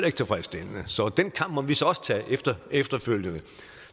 ikke tilfredsstillende så den kamp måtte vi så også tage efterfølgende